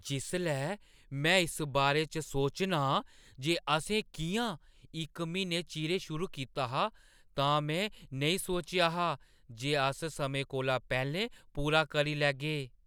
जिसलै में इस बारे च सोचनां जे असें कि'यां इक म्हीना चिरें शुरू कीता हा, तां में नेईं सोचेआ हा जे अस समें कोला पैह्‌लें पूरा करी लैगे।